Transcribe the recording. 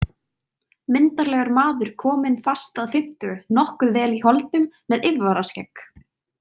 Myndarlegur maður kominn fast að fimmtugu, nokkuð vel í holdum, með yfirvaraskegg.